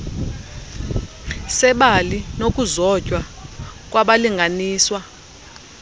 sebali nokuzotywa kwabalinganiswa